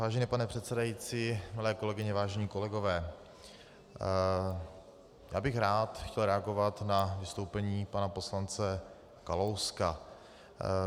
Vážený pane předsedající, milé kolegyně, vážení kolegové, já bych rád chtěl reagovat na vystoupení pana poslance Kalouska.